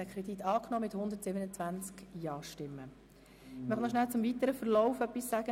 Sie haben den Kredit einstimmig mit 127 Stimmen angenommen.